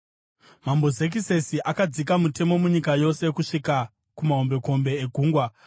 Mambo Zekisesi akadzika mutemo munyika yose, kusvika kumahombekombe egungwa.